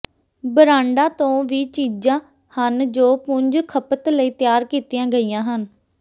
ਬ੍ਰਾਂਡਾਂ ਤੋਂ ਵੀ ਚੀਜ਼ਾਂ ਹਨ ਜੋ ਪੁੰਜ ਖਪਤ ਲਈ ਤਿਆਰ ਕੀਤੀਆਂ ਗਈਆਂ ਹਨ